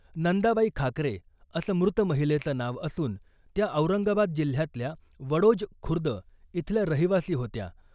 नंदाबाई खाकरे , असं मृत महिलेचं नाव असून , त्या औरंगाबाद जिल्ह्यातल्या वडोज खुर्द इथल्या रहिवासी होत्या .